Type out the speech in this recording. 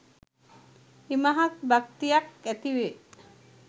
ඉමහත් භක්තියක් ඇතිවේ